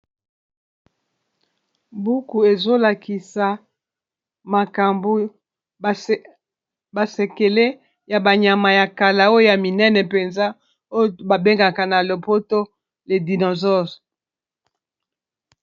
buku ezolakisa makambo basekele ya banyama ya kala oya minene mpenza oyo babengaka na lopoto le dinosause